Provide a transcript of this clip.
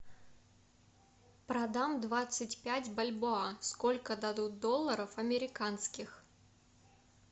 продам двадцать пять бальбоа сколько дадут долларов американских